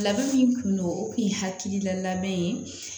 Labɛn min kun don o kun ye hakilila labɛn ye